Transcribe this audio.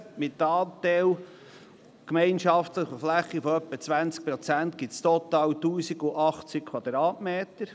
Mit einem Anteil an gemeinschaftlicher Fläche von etwa 20 Prozent ergibt dies total 1080 m.